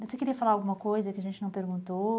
Você queria falar alguma coisa que a gente não perguntou?